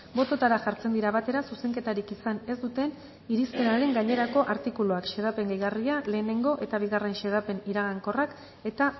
bototara jartzen dira batera zuzenketarik izan ez duten irizpenaren gainerako artikuluak xedapen gehigarria lehenengo eta bigarren xedapen iragankorrak eta